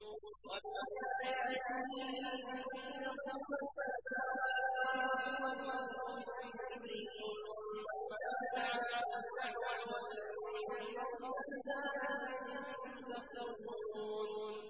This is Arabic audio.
وَمِنْ آيَاتِهِ أَن تَقُومَ السَّمَاءُ وَالْأَرْضُ بِأَمْرِهِ ۚ ثُمَّ إِذَا دَعَاكُمْ دَعْوَةً مِّنَ الْأَرْضِ إِذَا أَنتُمْ تَخْرُجُونَ